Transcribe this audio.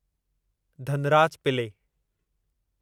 धनराज पिले